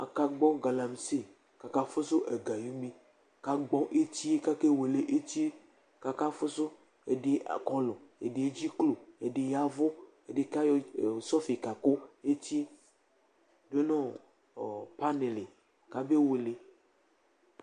aka gbɔ galaksi, aka fusu ega ayi une , ku agbɔ etie , ku ake wele etie, kaka fusu edi akɔlu , ɛdi edziklo, edi yavu, ɛdi ka yɔ sɔfi ka ku etie du nu ɔ pani li ka be wele